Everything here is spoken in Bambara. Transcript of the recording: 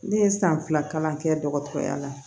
Ne ye san fila kalan kɛ dɔgɔtɔrɔya la